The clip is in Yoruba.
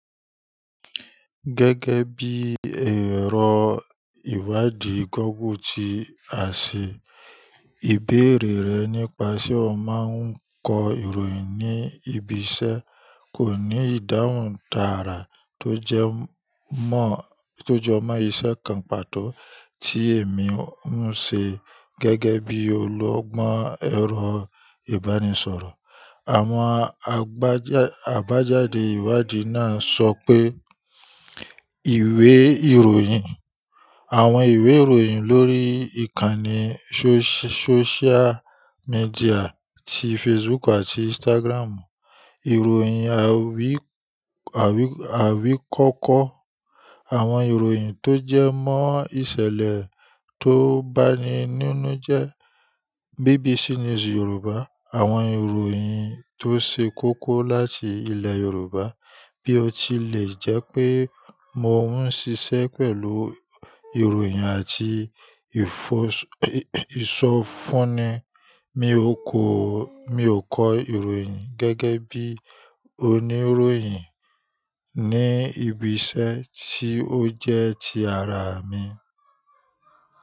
Gẹ́gẹ́ bí ẹ̀rọ ìwádìí google ti àṣẹ, ìbéèrè rẹ̀ nípa ṣe ó máa ń kọ ìròyìn ní ibiṣẹ́. Kò ní ìdáhùn tààrà to jomó isé kan pàtó ti èmi ń se gégé bi ologbón èro ìbánisòrò. Àwọn abaja àbájáde ìwádìí náà sọ pé ìwé ìròyìn, àwọn ìwé ìròyìn lórí ìkànnì sóṣiá, sóṣiá míḍíà ti Facebook àti Instagram, ìròyìn awi awikoko awon iroyin to je mon isele to ba nhi no inu je BBC News Yorùbá, àwọn ìròyìn tó ṣe kókó láti ilẹ̀ Yorùbá. Bí ó tilẹ̀ jẹ́ pé mò ń ṣiṣẹ́ pẹ̀lú ìròyìn àti ifoso ìsọfúnni, mi ò ko kọ́, mi ò kọ ìròyìn gẹ́gẹ́ bí oníròyìn ní ibiṣẹ́ tí ó jẹ́ ti ara mi.